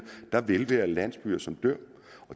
der vil være landsbyer som dør